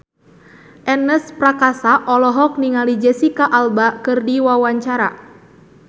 Ernest Prakasa olohok ningali Jesicca Alba keur diwawancara